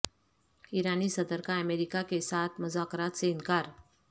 ایرانی صدر کا امریکہ کے ساتھ مذاکرات سے انکار